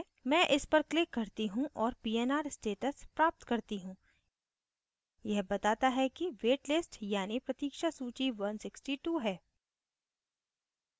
मैं इस पर click करती हूँ और pnr status प्राप्त करती हूँ यह बताता है wait listed यानि प्रतीक्षा सूची 162 है